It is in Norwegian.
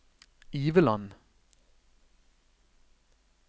Iveland